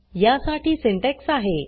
या साठी सिंटेक्स आहे